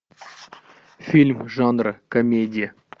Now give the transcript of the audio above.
фильм жанра комедия